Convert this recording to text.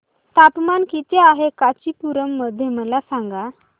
तापमान किती आहे कांचीपुरम मध्ये मला सांगा